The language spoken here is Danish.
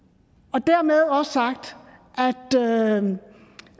og dermed også sagt